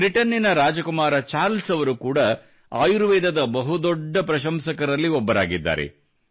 ಬ್ರಿಟನ್ನಿನ ರಾಜಕುಮಾರ ಚಾರ್ಲ್ಸ್ ಅವರು ಕೂಡಾ ಆಯುರ್ವೇದದ ಬಹು ದೊಡ್ಡ ಪ್ರಶಂಸಕರಾಗಿದ್ದಾರೆ